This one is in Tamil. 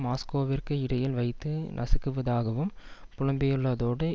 மாஸ்கோவிற்கு இடையில் வைத்து நசுக்குவதாகவும் புலம்பியுள்ளதோடு